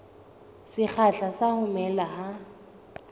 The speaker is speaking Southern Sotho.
sekgahla sa ho mela ha